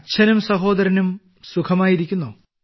അച്ഛനും സഹോദരനും സുഖമായിരിക്കുന്നോ